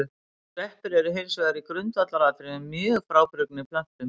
Sveppir eru hins vegar í grundvallaratriðum mjög frábrugðnir plöntum.